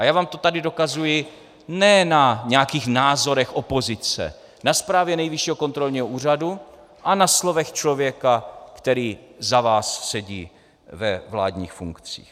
A já vám to tady dokazuji ne na nějakých názorech opozice, na zprávě Nejvyššího kontrolního úřadu a na slovech člověka, který za vás sedí ve vládních funkcích.